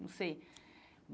Não sei.